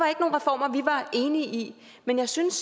enige i men jeg synes